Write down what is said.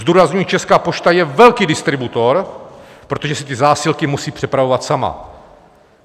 Zdůrazňuji, Česká pošta je velký distributor, protože si ty zásilky musí přepravovat sama.